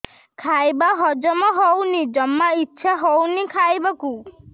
ଖାଇବା ହଜମ ହଉନି ଜମା ଇଛା ହଉନି ଖାଇବାକୁ